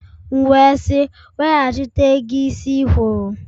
M wee sị, Weghachite ego isi ikwụrụ!